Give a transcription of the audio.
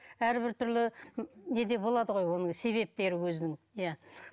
әрбір түрлі не де болады ғой оның себептері өзінің иә